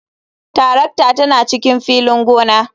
Tarakta tana cikin filin gona.